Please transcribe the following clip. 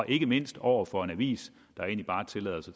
ikke mindst over for en avis der egentlig bare tillader